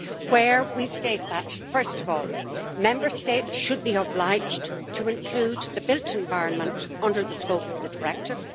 Where we state that, first of all, Member States should be obliged to include the built environment under the scope of the directive